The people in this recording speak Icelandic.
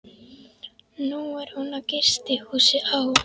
Nú er hún á gistihúsi á